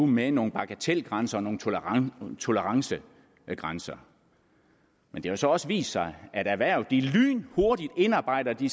med nogle bagatelgrænser og nogle tolerancegrænser men det har så også vist sig at erhvervet lynhurtigt indarbejder de